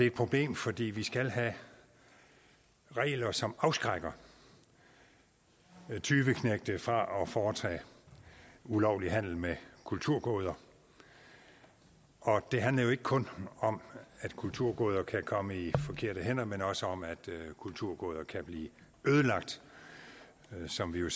et problem fordi vi skal have regler som afskrækker tyveknægte fra at foretage ulovlig handel med kulturgoder og det handler jo ikke kun om at kulturgoder kan komme i forkerte hænder men også om at kulturgoder kan blive ødelagt som vi jo